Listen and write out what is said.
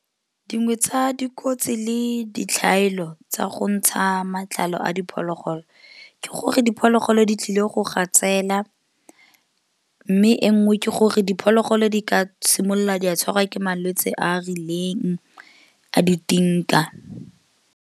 Dingwe tsa dikotsi le ditlhaelo tsa go ntsha matlalo a diphologolo ke gore diphologolo di tlile go gatsela mme e nngwe ke gore diphologolo di ka simolola di a tshwarwa ke malwetse a a rileng a di .